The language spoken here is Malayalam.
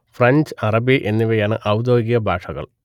ഫ്രഞ്ച് അറബി എന്നിവയാണ് ഔദ്യോഗിക ഭാഷകൾ